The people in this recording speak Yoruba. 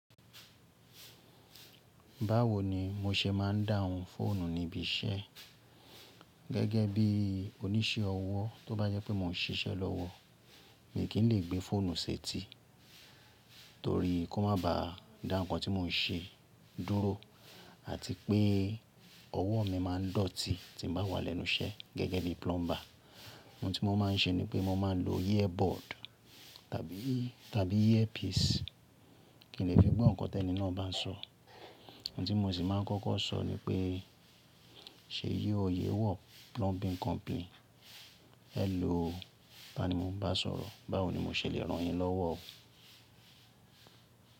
Báwo ni mo ṣe má ń dá ohun fọ́ọ̀nù níbi iṣẹ́ gẹ́gẹ́ bí oníṣẹ́ ọwọ́? Tóbá jẹ́ pé mò ń ṣiṣẹ́ lọ́wọ́, mi kì í lè gbé fọ́ọ̀nù ṣẹ́tí torí kó má ba dá ǹkan tí mò ń ṣe dúró àti pé ọwọ́ mi má ń dọ̀tí tí n bá wà lẹ́nu iṣẹ́ gẹ́gẹ́ ni plumber. Ohun tí mo má ń ṣe ni pé mo má ń lo earbud tàbí earpiece, kí n lè fí gbọ́ ǹkan tẹ́nì náà bá ń sọ. Ohun tí mo sì má ń kọ́kọ́ sọ ni pé, “ṣe yíò yẹ wọ plumbing company? Hello, tá ni mò ń bá sọ̀rọ̀, báwo ni mo ṣe lè rán yín lọ́wọ́?”